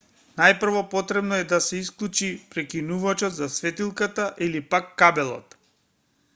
најпрво потребно е да се исклучи прекинувачот за светилката или пак кабелот